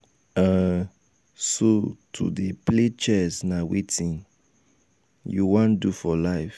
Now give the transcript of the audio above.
um so to dey play chess na wetin um you um wan do for life.